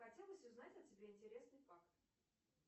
хотелось узнать о тебе интересный факт